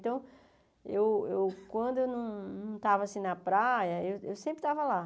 Então, eu eu quando eu não estava na praia, eu sempre estava lá.